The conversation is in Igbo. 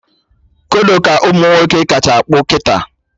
Kodo ka ụmụnwoke kacha akpụ kịta